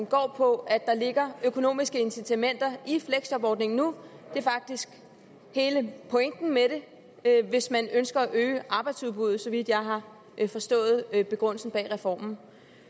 går på at der ligger økonomiske incitamenter i fleksjobordningen nu det er faktisk hele pointen med det hvis man ønsker at øge arbejdsudbuddet så vidt jeg har forstået begrundelsen bag reformen